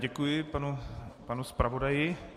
Děkuji panu zpravodaji.